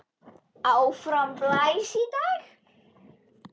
Áfram blæs í dag.